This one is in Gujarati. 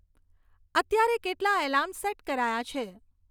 અત્યારે કેટલાં એલાર્મ સેટ કરાયા છે